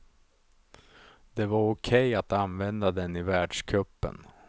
Det var okej att använda den i världscupen.